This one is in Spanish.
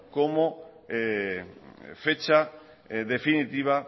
como fecha definitiva